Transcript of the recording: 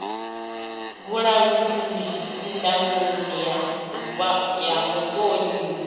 vhulanguli ndangulo ya vhuṱun ḓi